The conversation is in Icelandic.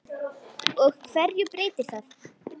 Og hverju breytir það?